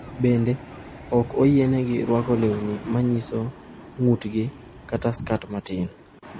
Bende, ok oyienegi rwako lewni ma nyiso ng’utgi kata skat matin.